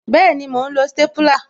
Bẹẹni, mo ń lo stépúlà